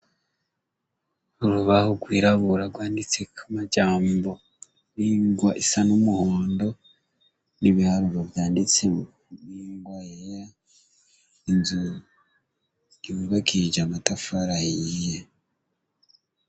Urubaha rwirabura rwanditseko amajambo n'ingwa isa n'umuhondo, n'ibiharuro vyanditse n'ingwa yera, inzu yubakishije amatafari ahiye.